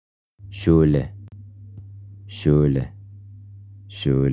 Shule.